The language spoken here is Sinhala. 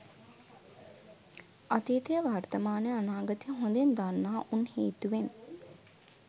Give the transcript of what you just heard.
අතීතය වර්තමානය අනාගතය හොදින් දන්නා උන් හේතුවෙන්